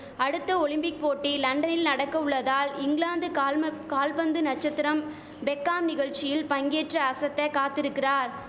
அடுத்த ஒலிம்பிக் போட்டி லண்டரில் நடக்க உள்ளதால் இங்கிலாந்து கால்ம கால்பந்து நச்சத்திரம் பெக்காம் நிகழ்ச்சியில் பங்கேற்று அசத்த காத்திருக்கிறார்